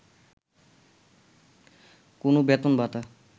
কোনো বেতন ভাতা